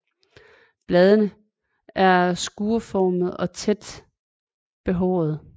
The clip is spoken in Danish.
Bladene er skruestillede og ofte tæt behårede